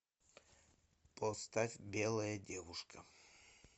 поставь белая девушка